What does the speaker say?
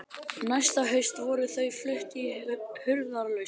Næsta haust voru þau flutt í hurðarlaust.